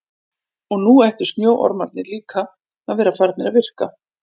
Og nú ættu snjóormarnir líka að vera farnir að virka.